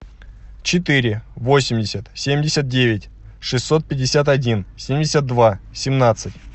четыре восемьдесят семьдесят девять шестьсот пятьдесят один семьдесят два семнадцать